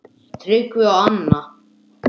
Tryggvi og Anna.